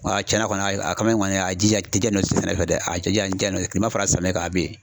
A cɛnna kɔni a kamalen kɔni a jija jijalen don sɛnɛ fɛ dɛ, a jija a jijalen don kilema fara samiyɛ kan a bɛ yen.